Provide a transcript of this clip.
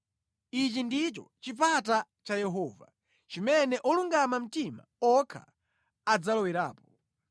Ichi ndicho chipata cha Yehova chimene olungama mtima okha adzalowerapo.